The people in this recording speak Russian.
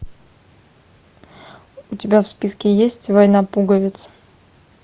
у тебя в списке есть война пуговиц